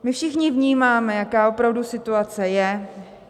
My všichni vnímáme, jaká opravdu situace je.